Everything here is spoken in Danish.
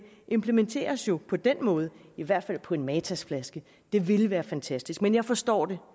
implementeres jo på den måde i hvert fald på en matasflaske det ville være fantastisk men jeg forstår det